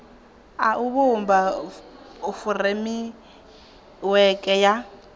a u vhumba furemiweke ya